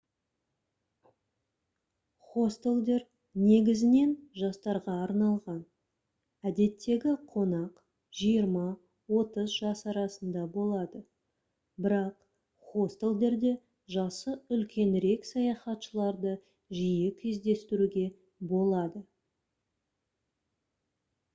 хостелдер негізінен жастарға арналған әдеттегі қонақ жиырма-отыз жас арасында болады бірақ хостелдерде жасы үлкенірек саяхатшыларды жиі кездестіруге болады